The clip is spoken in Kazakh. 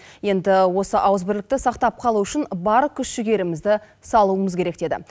енді осы ауызбірлікті сақтап қалу үшін бар күш жігерімізді салуымыз керек деді